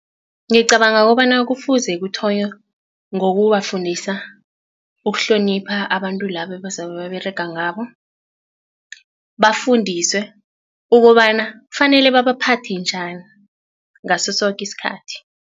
Ngicabanga kobana kufuze kuthonywe ngokubafundisa ukuhlonipha abantu labo ebazabe baberega ngabo bafundiswe ukobana kufanele babaphathe njani ngaso soke isikhathi.